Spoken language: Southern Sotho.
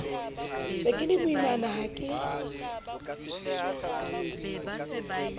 se ke lemoimana ha ke